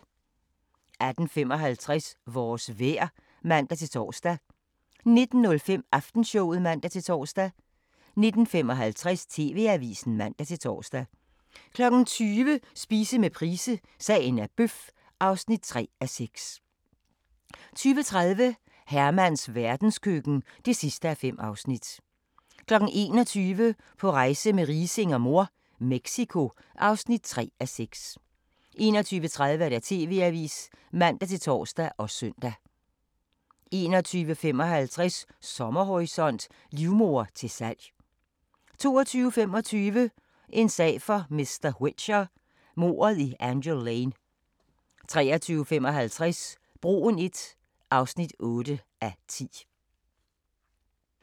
18:55: Vores vejr (man-tor) 19:05: Aftenshowet (man-tor) 19:55: TV-avisen (man-tor) 20:00: Spise med Price – Sagen er bøf (3:6) 20:30: Hermans verdenskøkken (5:5) 21:00: På rejse med Riising og mor - Mexico (3:6) 21:30: TV-avisen (man-tor og søn) 21:55: Sommerhorisont: Livmoder til salg 22:25: En sag for mr. Whicher: Mordet i Angel Lane 23:55: Broen I (8:10)